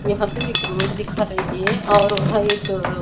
यहां पे एक रोड दिखा रही है और वहां एक--